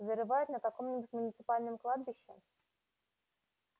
зарывают на каком-нибудь муниципальном кладбище